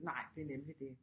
Nej det er nemlig det